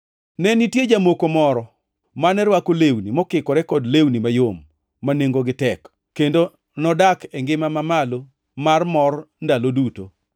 “Ne nitie jamoko moro mane rwako lewni mokikore kod lewni mayom ma nengogi tek, kendo nodak e ngima mamalo mar mor ndalo duto.